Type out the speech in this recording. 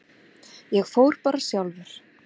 Ég fór bara sjálfur.